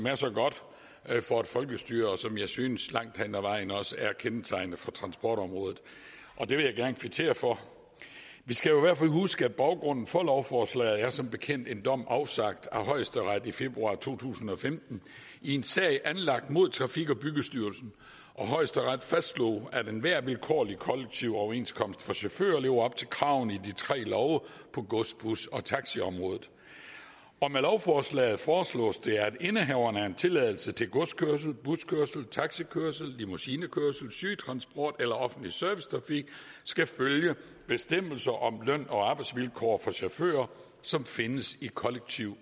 er så godt for et folkestyre og som jeg synes langt hen ad vejen også er kendetegnende for transportområdet det vil jeg gerne kvittere for vi skal jo fald huske at baggrunden for lovforslaget som bekendt er en dom afsagt af højesteret i februar to tusind og femten i en sag anlagt mod trafik og byggestyrelsen højesteret fastslog at enhver vilkårlig kollektiv overenskomst for chauffører lever op til kravene i de tre love på gods bus og taxiområdet med lovforslaget foreslås det at indehaveren af en tilladelse til godskørsel buskørsel taxikørsel limousinekørsel sygetransport eller offentlig servicetrafik skal følge bestemmelser om løn og arbejdsvilkår for chauffører som findes i kollektive